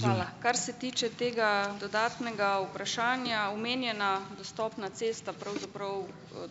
Hvala. Kar se tiče tega dodatnega vprašanja, omenjena dostopna cesta pravzaprav,